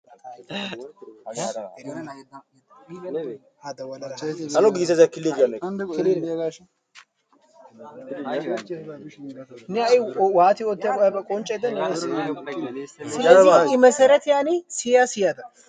salo cliir giyaga ne ha'i gelis gidenee, silezihi i meseretiyani siya siyada